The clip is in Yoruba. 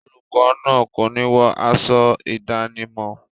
Olùkọ náà kòní wọ aṣọ ìdánimọ̀.